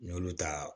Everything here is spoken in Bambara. N y'olu ta